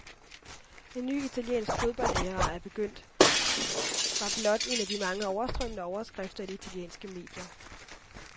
En ny italiensk fodboldæra er begyndt, var blot en af de mange overstrømmende overskrifter i de italienske medier.